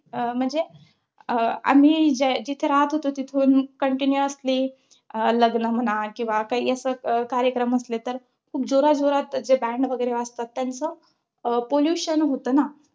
म्हणजे, अं आम्ही जिथे राहत होतो, तिथून countinuously अं लग्न म्हणा किंवा काही असे कार्यक्रम असले तर खूप जोराजोरात जे band वगैरे वाजतात त्याचं अं pollution होतं ना